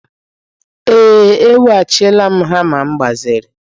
Ee, eweghachila m hama m gbaziri.